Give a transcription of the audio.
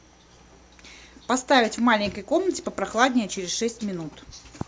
поставить в маленькой комнате попрохладнее через шесть минут